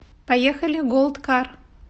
поехали голд кар